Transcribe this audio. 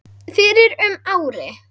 fyrir um ári.